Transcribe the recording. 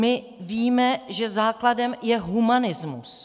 My víme, že základem je humanismus.